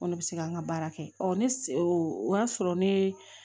Ko ne bɛ se ka n ka baara kɛ ɔ ne se o y'a sɔrɔ ne